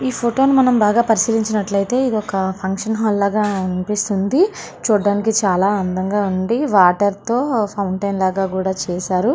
ఈ ఫోటో ని మనం బాగా పరిశీలించినట్లయితే ఇది ఒక ఫంక్షన్ హాల్ లాగా అనిపిస్తుంది. చూడడానికి చాలా అందంగా ఉండి వాటర్ తో ఫౌంటెన్ లాగా కూడా చేశారు.